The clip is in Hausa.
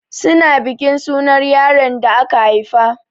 Su na bikin sunar yaron the aka haifa.